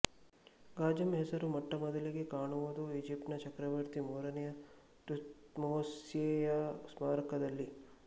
ಗಾಜಂ ಹೆಸರು ಮೊಟ್ಟಮೊದಲಿಗೆ ಕಾಣವುದು ಈಜಿಪ್ಟಿನ ಚಕ್ರವರ್ತಿ ಮೂರನೆಯ ಥೂಟ್ಮೋಸೆಯ ಸ್ಮಾರಕದಲ್ಲಿ